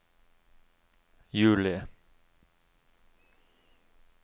juli